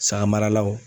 Saga maralaw